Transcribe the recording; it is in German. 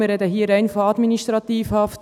Wir sprechen hier rein von Administrativhaft.